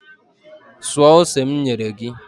Suo ose m nyere gị!